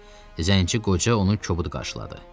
Zənci qoca onu kobud qarşıladı.